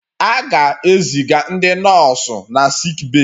A ga-eziga ndị nọọsụ na sickbay